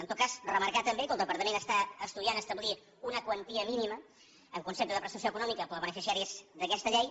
en tot cas remarcar també que el departament està estudiant establir una quantia mínima en concepte de prestació econòmica per a beneficiaris d’aquesta llei